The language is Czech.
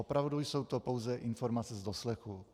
Opravdu jsou to pouze informace z doslechu.